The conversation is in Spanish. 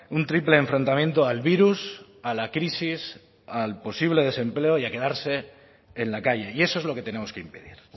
un triple enfrentamiento al virus a la crisis al posible desempleo y a quedarse en la calle y eso es lo que tenemos que impedir